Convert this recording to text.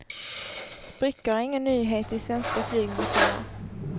Sprickor är ingen nyhet i svenska flygmotorer.